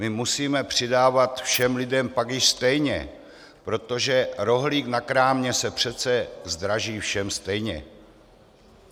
My musíme přidávat všem lidem pak už stejně, protože rohlík na krámě se přece zdraží všem stejně.